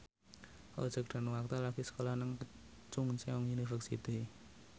Roger Danuarta lagi sekolah nang Chungceong University